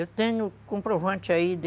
Eu tenho comprovante aí de